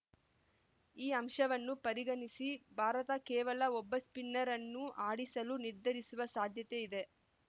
ಈ ಅಂಶವನ್ನು ಪರಿಗಣಿಸಿ ಭಾರತ ಕೇವಲ ಒಬ್ಬ ಸ್ಪಿನ್ನರ್‌ ಅನ್ನು ಆಡಿಸಲು ನಿರ್ಧರಿಸುವ ಸಾಧ್ಯತೆ ಇದೆ